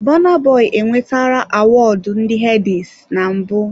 Burna Boy enwetara Awọọdụ ndị headies na mbụ.